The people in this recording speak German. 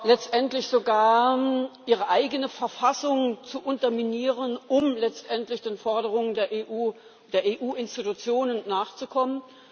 letztendlich sogar ihre eigene Verfassung zu unterminieren, um letztendlich den Forderungen der EU Institutionen nachzukommen.